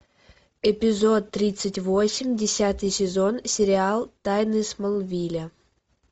эпизод тридцать восемь десятый сезон сериал тайны смолвиля